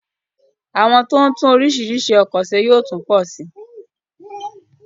Àwọn tó ń tún orísirísi ọkọ̀ se yóò tún pọ sí